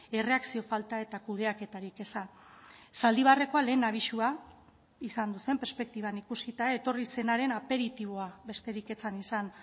erreakzio falta eta kudeaketarik eza zaldibarrekoa lehen abisua izan zen perspektiban ikusita etorri zenaren aperitiboa besterik ez zen izan